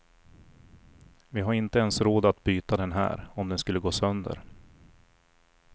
Vi har inte ens råd att byta den här, om den skulle gå sönder.